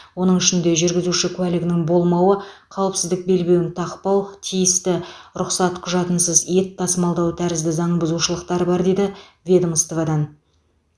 оның ішінде жүргізуші куәлігінің болмауы қауіпсіздік белбеуін тақпау тиісті рұқсат құжатынсыз ет тасымалдау тәрізді заңбұзушылықтар бар деді ведомстводан